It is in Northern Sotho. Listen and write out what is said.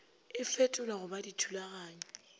e fetolwa go ba dithulaganyo